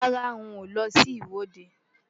Rárá, n ò lọ sí ìwọ́de.